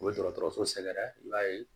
U bɛ dɔgɔtɔrɔso sɛgɛrɛ i b'a ye